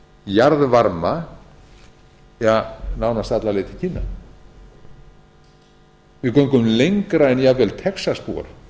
jarðvarma ja nánast alla leið til kína við göngum lengra en jafnvel texasbúar með